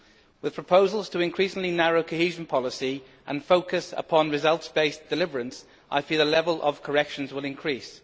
With proposals to increasingly narrow cohesion policy and focus upon results based deliverance, I feel the level of corrections will increase.